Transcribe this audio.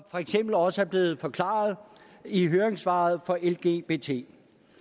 for eksempel også er blevet forklaret i høringssvaret fra lgbt